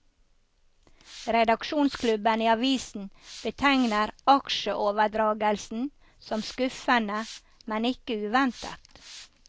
Redaksjonsklubben i avisen betegner aksjeoverdragelsen som skuffende, men ikke uventet.